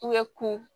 U ye kun